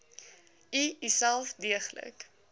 u uself deeglik